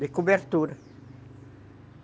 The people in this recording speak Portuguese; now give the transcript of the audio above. de cobertura.